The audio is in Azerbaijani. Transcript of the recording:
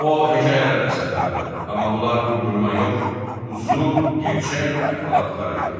O hekayələr də satırdı, amma bunlar uydurma yox, uzun gerçək əhvalatlar idi.